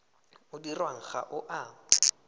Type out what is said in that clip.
o dirwang ga o a